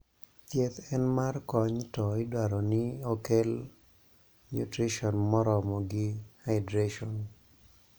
thieth en mar kony to idwaroni okel nutrition moromo gi hydration